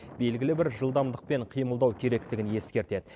белгілі бір жылдамдықпен қимылдау керектігін ескертеді